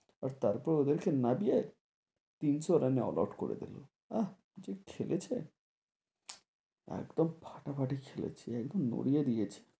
তার পর ওদের কে নাড়িয়ে তিনসো run এ knockout আহ কি খেলেছে, একদম ফাটাফ্যাটি খেলেছে একদম নড়িয়ে দিয়েছে,